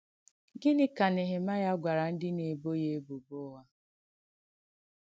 Gịnị́ kà Nèhèmàịà gwàrà ndí nà-èbò ya èbùbọ̀ ụ̀ghà?